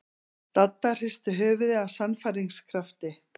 Dadda hristi höfuðið af sannfæringarkrafti.